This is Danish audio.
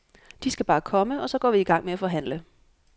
De skal bare komme, og så går vi i gang med at forhandle.